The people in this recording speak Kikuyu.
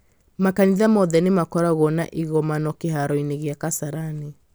makanitha mothe nĩ makoragwo na igomano kĩharo-inĩ kĩa kasarani